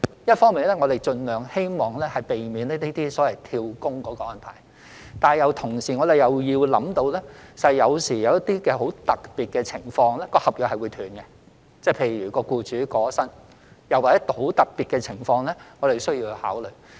一方面，我們希望盡量避免這些所謂"跳工"的安排，但同時我們亦要考慮到有時候，一些十分特別的情況會導致合約中斷，例如僱主過身，又或其他十分特別的情況是我們需要考慮的。